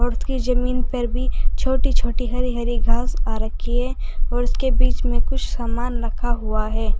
उसकी जमीन पर भी छोटी छोटी हरि हरि घास आ रखी है और उसके बीच में कुछ सामान रखा हुआ है।